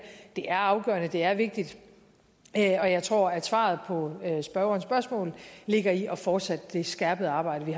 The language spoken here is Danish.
det er afgørende og det er vigtigt og jeg tror at svaret på spørgerens spørgsmål ligger i at fortsætte det skærpede arbejde